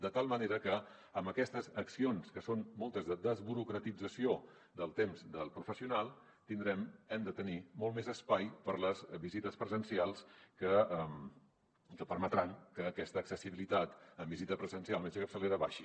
de tal manera que amb aquestes accions que són moltes de desburocratització del temps del professional tindrem hem de tenir molt més espai per a les visites presencials que permetran que aquesta accessibilitat amb visita presencial al metge de capçalera baixi